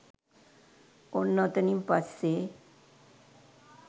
ඔන්න ඔතනින් පස්සෙ